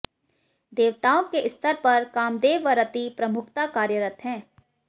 देवताओं के स्तर पर कामदेव व रति प्रमुखतः कार्यरत हैं